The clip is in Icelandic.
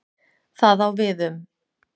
Það á við um